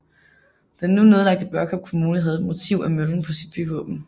Den nu nedlagte Børkop Kommune havde et motiv af møllen på sit byvåben